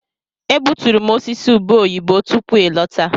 Egbuturu m osisi ube oyibo tupu ị lọta.